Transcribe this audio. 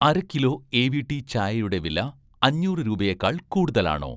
അര kilo AVT. ചായയുടെ വില, അഞ്ഞൂറ് രൂപയേക്കാൾ കൂടുതലാണോ?